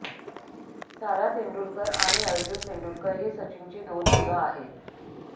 सारा तेंडुलकर आणि अर्जुन तेंडुलकर ही सचिनची दोन मुलं आहेत